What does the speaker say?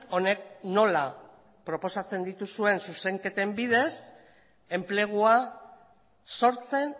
honek nola proposatzen dituzuen zuzenketen bidez enplegua sortzen